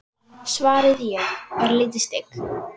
svaraði ég, örlítið stygg.